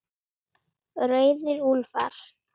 Rauðir úlfar